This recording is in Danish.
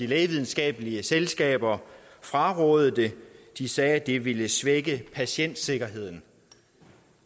lægevidenskabelige selskaber frarådede det de sagde at det ville svække patientsikkerheden